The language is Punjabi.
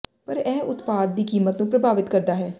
ਪਰ ਇਹ ਉਤਪਾਦ ਦੀ ਕੀਮਤ ਨੂੰ ਪ੍ਰਭਾਵਿਤ ਕਰਦਾ ਹੈ